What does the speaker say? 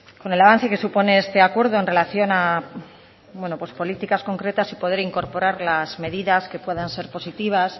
con el avance que supone este acuerdo en relación a bueno pues políticas concretas y poder incorporar las medidas que puedan ser positivas